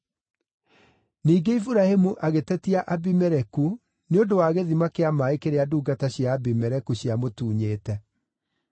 Ningĩ Iburahĩmu agĩtetia Abimeleku nĩ ũndũ wa gĩthima kĩa maaĩ kĩrĩa ndungata cia Abimeleku ciamũtunyĩte.